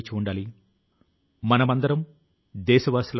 సౌకర్యాలను త్యాగం చేస్తుంది